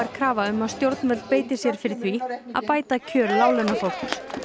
krafa um að stjórnvöld beiti sér fyrir því að bæta kjör láglaunafólks